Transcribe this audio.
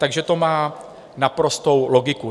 Takže to má naprostou logiku.